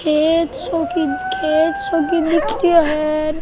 Cake सो cake सो की दिख रियो है।